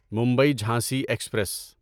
Mumbai Jhansi express